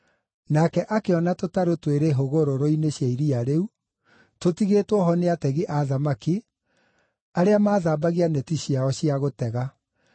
nake akĩona tũtarũ twĩrĩ hũgũrũrũ-inĩ cia iria rĩu, tũtigĩtwo ho nĩ ategi a thamaki, arĩa maathambagia neti ciao cia gũtega.